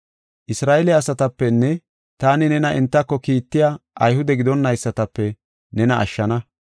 Isra7eele asatapenne taani nena entako kiittiya Ayhude gidonaysatape nena ashshana.